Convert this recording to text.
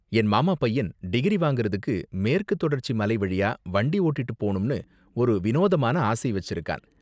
என் மாமா பையன் டிகிரி வாங்குறதுக்கு மேற்குத் தொடர்ச்சி மலை வழியா வண்டி ஓட்டிட்டு போணும்னு ஒரு வினோதமான ஆசை வச்சிருக்கான்.